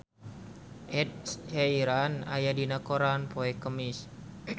Ed Sheeran aya dina koran poe Kemis